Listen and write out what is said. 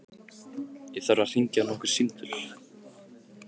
Ég þarf að hringja nokkur símtöl.